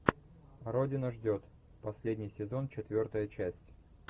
родина ждет последний сезон четвертая часть